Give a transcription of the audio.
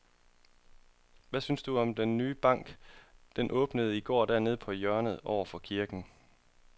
Hvad synes du om den nye bank, der åbnede i går dernede på hjørnet over for kirken?